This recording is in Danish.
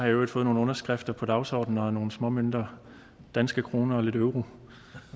i øvrigt fået nogle underskrifter på dagsordenen og nogle småmønter danske kroner og lidt euro